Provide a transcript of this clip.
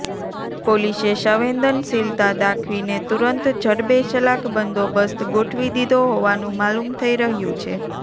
પોલીસે સંવેદનશીલતા દાખવીને તુરંત જડબેસલાક બંદોબસ્ત ગોઠવી દીધો હોવાનું માલુમ થઈ રહ્યું છે